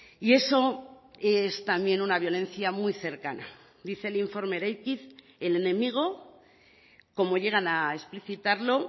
y eso es también una violencia muy cercana dice el informe eraikiz el enemigo como llegan a explicitarlo